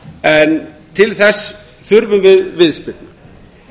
en til þess þurfum við viðspyrnu